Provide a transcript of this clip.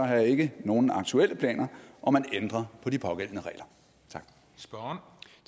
har jeg ikke nogen aktuelle planer om at ændre på de pågældende regler